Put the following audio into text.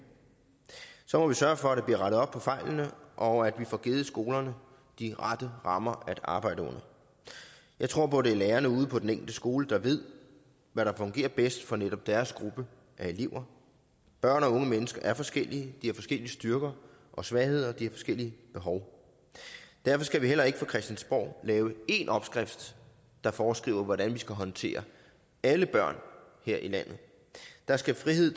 så må vi sørge for at der bliver rettet op på fejlene og at vi får givet skolerne de rette rammer at arbejde under jeg tror på at det er lærerne ude på den enkelte skole der ved hvad der fungerer bedst for netop deres gruppe af elever børn og unge mennesker er forskellige de har forskellige styrker og svagheder de har forskellige behov derfor skal vi heller ikke fra christiansborg lave én opskrift der foreskriver hvordan vi skal håndtere alle børn her i landet der skal frihed